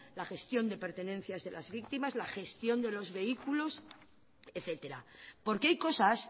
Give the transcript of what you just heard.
la gestión de pertenencias de las víctimas la gestión de los vehículos etcétera porque hay cosas